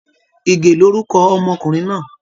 Ìgè lórúkọ ọmọkùnrin náà